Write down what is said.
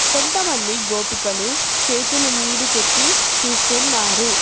కొంతమంది గోపికలు చేతులు మీదికెత్తి చూస్తున్నారు